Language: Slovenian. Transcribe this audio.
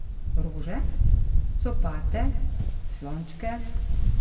Rože, copate, slončke ...